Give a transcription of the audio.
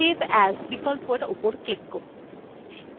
এবং তারপর save as বিকল্পরের উপর click করুন